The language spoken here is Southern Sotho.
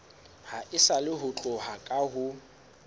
haesale ho tloha ka ho